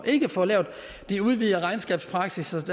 ikke at få lavet den udvidede regnskabspraksis